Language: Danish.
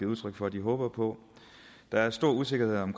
udtryk for at de håber på der er stor usikkerhed om